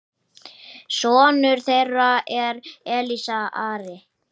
Sonur þeirra er Elías Ari.